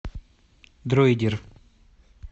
дройдер